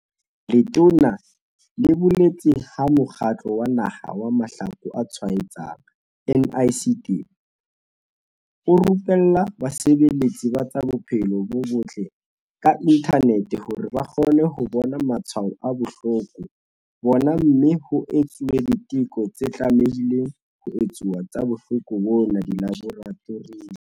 Letona le boletse ha Mokgatlo wa Naha wa Mahloko a Tshwaetsanang, NICD, o rupella basebeletsi ba tsa bophelo bo botle ka inthanete hore ba kgone ho bona matshwao a bohloko bona mme ho etsuwe diteko tse tlamehileng ho etsuwa tsa bohloko bona dilaboratoring.